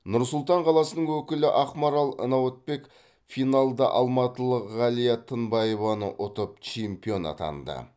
нұр сұлтан қаласының өкілі ақмарал науатбек финалда алматылық ғалия тынбаеваны ұтып чемпион атанды